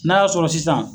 N'a y'a sɔrɔ sisan